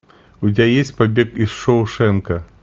у тебя есть побег из шоушенка